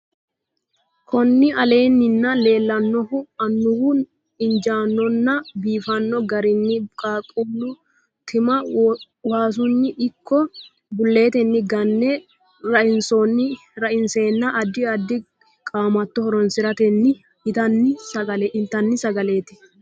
kuni aleenin leellanohu amuuwu injaannonna biiffanno garinni qeeqqalu tima waasunni ikko bulletenni gane raiseenna addi addi qaamatto horoonsiratenni intanni sagaleti.